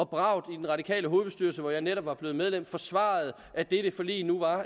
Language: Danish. bravt i den radikale hovedbestyrelse hvor jeg netop var blevet medlem forsvarede at dette forlig nu var